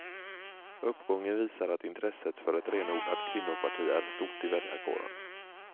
Uppgången visar att intresset för ett renodlat kvinnoparti är stort i väljarkåren.